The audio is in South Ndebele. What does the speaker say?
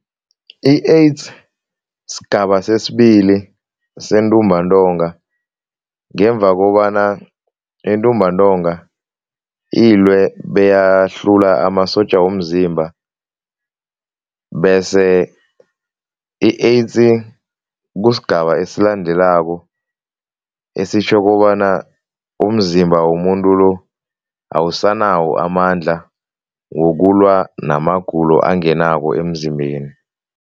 I-AIDS sigaba sesibili sentumbantonga ngemva kobana intumbantonga ilwe beyahlula amasotja womzimba bese i-AIDS kusigaba esilandelako esitjho kobana umzimba womuntu lo awusanawo amandla wokulwa namagulo angenako emzimbeni.